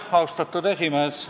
Austatud esimees!